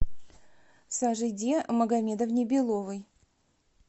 сажиде магомедовне беловой